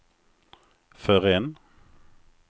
förrän